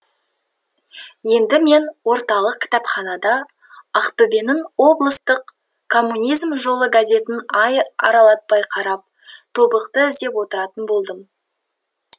енді мен орталық кітапханада ақтөбенің облыстық коммунизм жолы газетін ай аралатпай қарап тобықты іздеп отыратын болдым